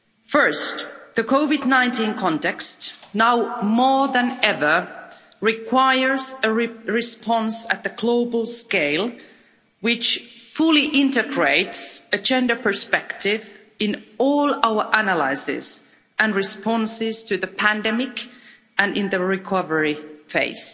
First, the COVID 19 context now more than ever requires a response at the global scale which fully integrates a gender perspective in all our analyses and responses to the pandemic and in the recovery phase.